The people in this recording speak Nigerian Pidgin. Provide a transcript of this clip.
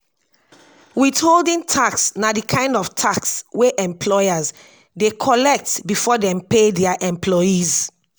withholding na di kind of tax wey employer dey collect before dem pay their employers